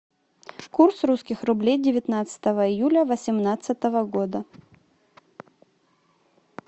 курс русских рублей девятнадцатого июля восемнадцатого года